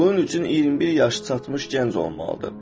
Bunun üçün 21 yaşa çatmış gənc olmalıdır.